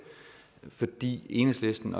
fordi enhedslisten